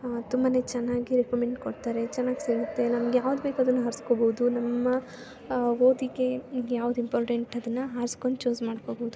ಆ ತುಂಬಾನೇ ಚೆನ್ನಾಗಿ ರೆಕಮೆಂಡ್ ಕೊಡ್ತಾರೆ. ಚೆನ್ನಾಗ್ ಸಿಗುತ್ತೆ. ನಮ್ಗ್ ಯಾವುದ್ ಬೇಕು ಅದನ್ನ ಹಾರ್ಸ್ಕೊಬಹುದು. ನಮ್ಮ ಆ ಓದಿಗೆ ಯಾವುದ್ ಇಂಪಾರ್ಟೆಂಟ್ ಅದನ್ನ ಹರ್ಸ್ಕೊಂಡ್ ಚೂಸ್ ಮಾಡ್ಕೊಬಹುದು.